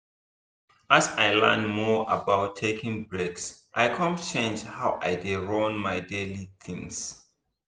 as i learn more about taking breaks i come change how i dey run my daily things.